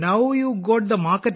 അപ്പോൾ നിങ്ങൾക്കും വിപണി കിട്ടിയോ